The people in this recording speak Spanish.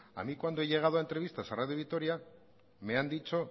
a mí cuando he llegado a entrevistas a radio vitoria me han dicho